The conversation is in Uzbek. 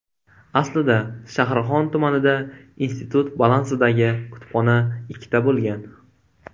Aslida Shahrixon tumanida institut balansidagi kutubxona ikkita bo‘lgan.